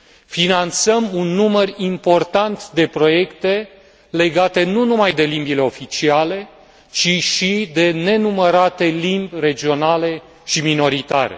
Finanțăm un număr important de proiecte legate nu numai de limbile oficiale, ci și de nenumărate limbi regionale și minoritare.